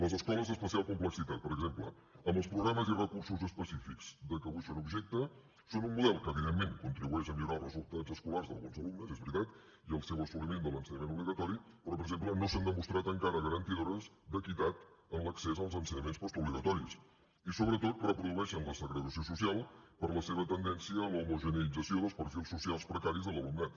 les escoles d’especial complexitat per exemple amb els programes i recursos específics de què avui són objecte són un model que evidentment contribueix a millorar els resultats escolars d’alguns alumnes és veritat i el seu assoliment de l’ensenyament obligatori però per exemple no s’han demostrat encara garantidores d’equitat en l’accés als ensenyaments postobligatoris i sobretot reprodueixen la segregació social per la seva tendència a l’homogeneïtzació dels perfils socials precaris de l’alumnat